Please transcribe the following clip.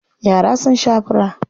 Yara sun sha fura.